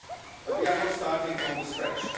But we are not starting from scratch.